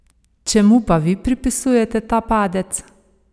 Čemu pa vi pripisujete ta padec?